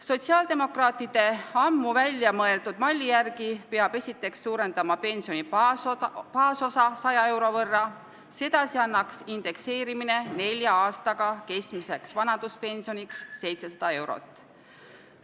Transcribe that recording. Sotsiaaldemokraatide ammu välja mõeldud malli järgi peab esiteks suurendama pensioni baasosa 100 euro võrra, sedasi annaks indekseerimine nelja aastaga keskmiseks vanaduspensioniks 700 eurot.